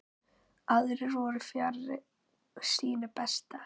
Aðrir voru fjarri sínu besta.